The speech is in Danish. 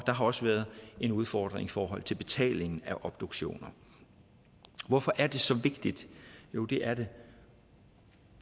har også været en udfordring i forhold til betalingen af obduktioner hvorfor er det så vigtigt jo det er det